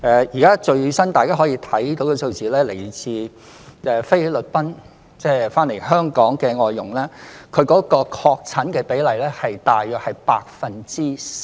現時大家可以看到最新的數字，自菲律賓返港的外傭，確診比例大約是 4%。